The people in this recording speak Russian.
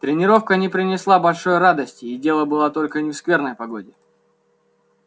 тренировка не принесла большой радости и дело было не только в скверной погоде